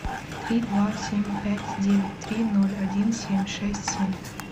три два семь пять девять три ноль один семь шесть семь